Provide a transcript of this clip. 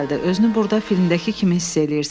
Özünü burda filmdəki kimi hiss eləyirsən.